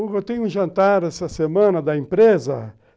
Eu tenho um jantar essa semana da empresa.